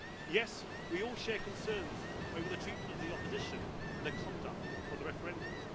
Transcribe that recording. Yes, we all share concerns over the treatment of the opposition and the conduct of the referendum